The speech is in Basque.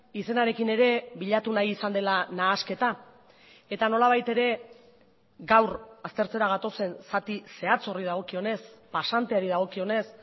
izenarekin ere bilatu nahi izan dela nahasketa eta nolabait ere gaur aztertzera gatozen zati zehatz horri dagokionez pasanteari dagokionez